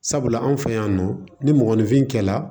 Sabula anw fɛ yan nɔ ni mɔgɔninfin kɛla